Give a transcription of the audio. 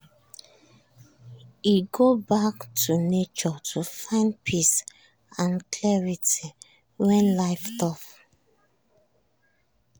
e go back to nature to find peace and clarity when life tough